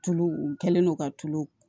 Tulu u kɛlen no ka tulu